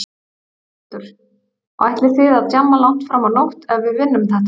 Þórhildur: Og ætlið þið að djamma langt fram á nótt ef við vinnum þetta?